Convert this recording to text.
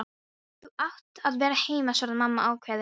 Þú átt að vera heima, svaraði mamma ákveðin.